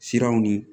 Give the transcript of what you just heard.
Siraw ni